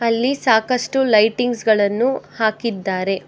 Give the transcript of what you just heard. ಅಲ್ಲಿ ಸಾಕಷ್ಟು ಲೈಟಿಂಗ್ಸ್ ಗಳನ್ನು ಹಾಕಿದ್ದಾರೆ.